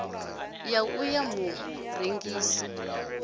ya u ṱo ḓa murengisi